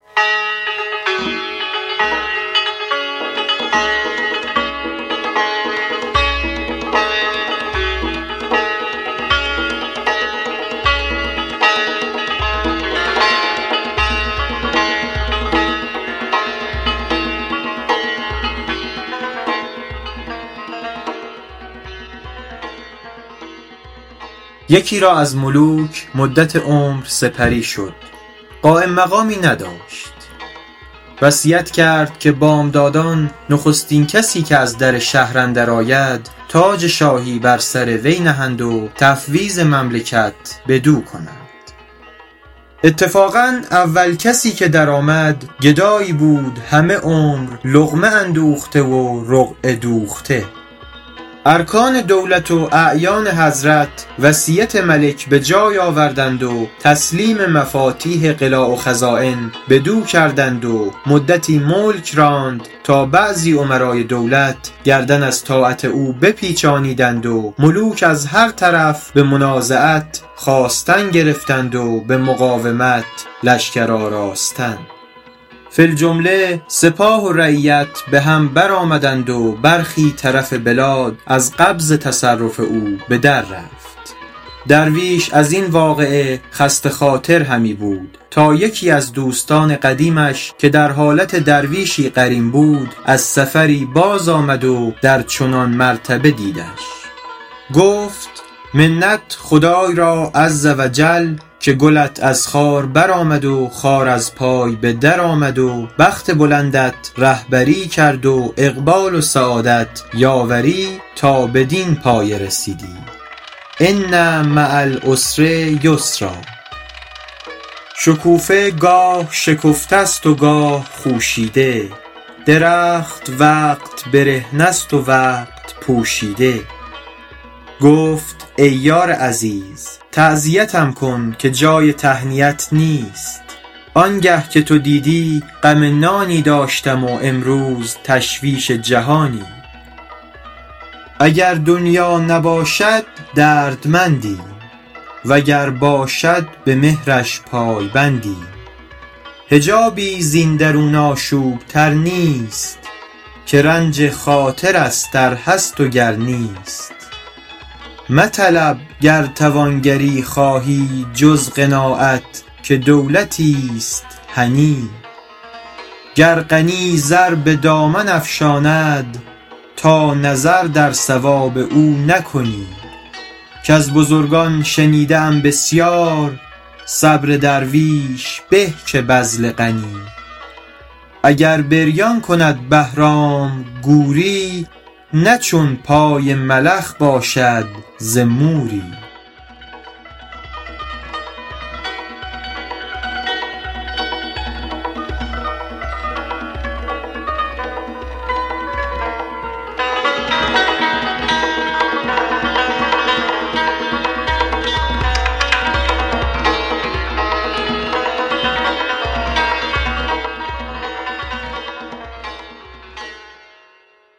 یکی را از ملوک مدت عمر سپری شد قایم مقامی نداشت وصیت کرد که بامدادان نخستین کسی که از در شهر اندر آید تاج شاهی بر سر وی نهند و تفویض مملکت بدو کنند اتفاقا اول کسی که در آمد گدایی بود همه عمر لقمه اندوخته و رقعه دوخته ارکان دولت و اعیان حضرت وصیت ملک به جای آوردند و تسلیم مفاتیح قلاع و خزاین بدو کردند و مدتی ملک راند تا بعضی امرای دولت گردن از طاعت او بپیچانیدند و ملوک از هر طرف به منازعت خاستن گرفتند و به مقاومت لشکر آراستن فی الجمله سپاه و رعیت به هم بر آمدند و برخی طرف بلاد از قبض تصرف او به در رفت درویش از این واقعه خسته خاطر همی بود تا یکی از دوستان قدیمش که در حالت درویشی قرین بود از سفری باز آمد و در چنان مرتبه دیدش گفت منت خدای را عز و جل که گلت از خار بر آمد و خار از پای به در آمد و بخت بلندت رهبری کرد و اقبال و سعادت یاوری تا بدین پایه رسیدی ان مع العسر یسرا شکوفه گاه شکفته است و گاه خوشیده درخت وقت برهنه است و وقت پوشیده گفت ای یار عزیز تعزیتم کن که جای تهنیت نیست آنگه که تو دیدی غم نانی داشتم و امروز تشویش جهانی اگر دنیا نباشد دردمندیم وگر باشد به مهرش پای بندیم حجابی زین درون آشوب تر نیست که رنج خاطر است ار هست و گر نیست مطلب گر توانگری خواهی جز قناعت که دولتیست هنی گر غنی زر به دامن افشاند تا نظر در ثواب او نکنی کز بزرگان شنیده ام بسیار صبر درویش به که بذل غنی اگر بریان کند بهرام گوری نه چون پای ملخ باشد ز موری